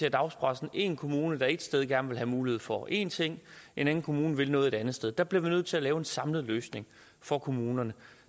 i dagspressen én kommune der et sted gerne vil have mulighed for én ting en anden kommune vil noget et andet sted der bliver vi nødt til at lave en samlet løsning for kommunerne